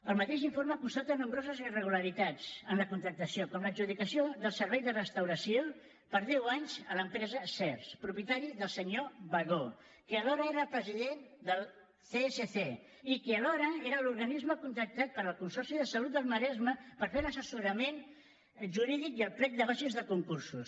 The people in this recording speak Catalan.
el mateix informe constata nombroses irregularitats en la contractació com l’adjudicació del servei de restauració per deu anys a l’empresa sehrs propietat del senyor bagó que alhora era el president del csc i que alhora era l’organisme contractat pel consorci de salut del maresme per fer l’assessorament jurídic i el plec de bases de concursos